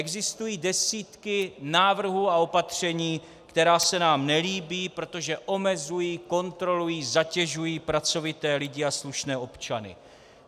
Existují desítky návrhů a opatření, která se nám nelíbí, protože omezují, kontrolují, zatěžují pracovité lidi a slušné občany.